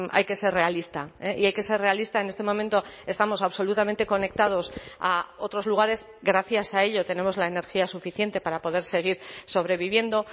hay que ser realista y hay que ser realista en este momento estamos absolutamente conectados a otros lugares gracias a ello tenemos la energía suficiente para poder seguir sobreviviendo